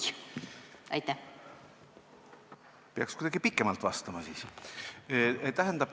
Peaks siis kuidagi pikemalt vastama.